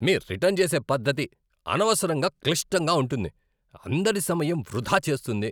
మీ return చేసే పద్ధతి అనవసరంగా క్లిష్టంగా ఉంటుంది, అందరి సమయం వృధా చేస్తుంది.